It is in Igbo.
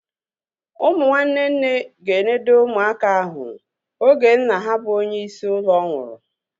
Ụmụ nwanne nne ga-enode ụmụaka ahu oge nna ha bụ onye isi ụlọ nwụrụ